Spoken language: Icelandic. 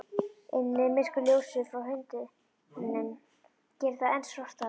Inni er myrkur, ljósið frá hundinum gerir það enn svartara.